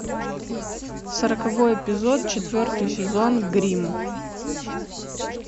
сороковой эпизод четвертый сезон гримм